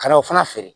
Ka n'o fana feere